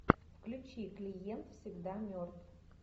включи клиент всегда мертв